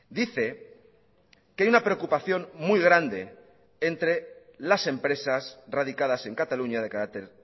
dice que hay una preocupación muy grande entre las empresas radicadas en cataluña de carácter